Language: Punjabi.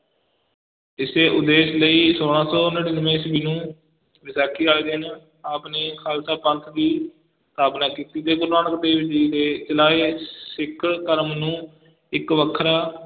ਇਸੇ ਉਦੇਸ਼ ਲਈ ਛੋਲਾਂ ਸੌ ਨੜ੍ਹਿਨਵੇਂ ਈਸਵੀ ਨੂੰ ਵਿਸਾਖੀ ਵਾਲੇ ਦਿਨ ਆਪ ਨੇ ਖਾਲਸਾ ਪੰਥ ਦੀ ਸਥਾਪਨਾ ਕੀਤੀ ਤੇ ਗੁਰੂ ਨਾਨਕ ਦੇਵ ਜੀ ਦੇ ਚਲਾਏ ਸਿੱਖ ਧਰਮ ਨੂੰ ਇੱਕ ਵੱਖਰਾ